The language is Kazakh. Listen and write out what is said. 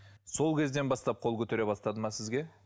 сол кезден бастап қол көтере бастады ма сізге